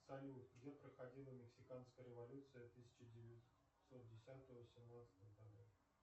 салют где проходила мексиканская революция тысяча девятьсот десятого семнадцатого годов